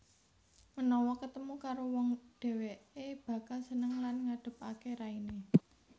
Menawa ketemu karo wong dheweke bakal seneng lan ngadepake raine